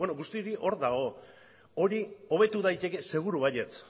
guztia hori hor dago hori hobetu daiteke seguru baietz